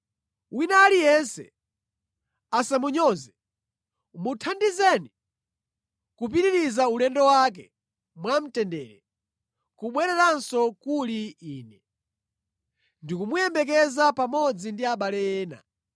Wina aliyense asamunyoze. Muthandizeni kupitiriza ulendo wake mwamtendere kubwereranso kuli ine. Ndikumuyembekeza pamodzi ndi abale ena.